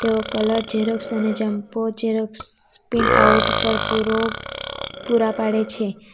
તેઓ colour xerox અને jumbo xerox printout પર પૂરો પૂરા પાડે છે.